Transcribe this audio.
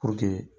Puruke